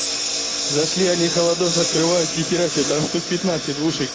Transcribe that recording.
зашли они холодос открывают нехера себе там штук пятнадцать двушек